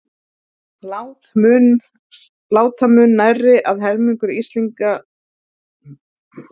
Láta mun nærri að helmingur Íslendinga deyi úr hjarta- og æðasjúkdómum.